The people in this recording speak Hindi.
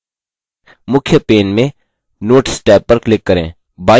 मुख्य main में notes टैब पर click करें